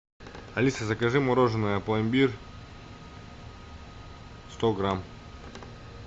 алиса закажи мороженое пломбир сто грамм